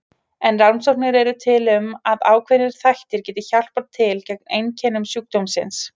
En rannsóknir eru til um að ákveðnir þættir geti hjálpað til gegn einkennum sjúkdómsins.